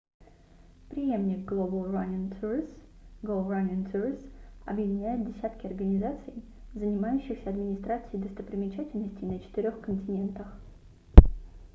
преемник global running tours go running tours объединяет десятки организаций занимающихся администрацией достопримечательностей на четырёх континентах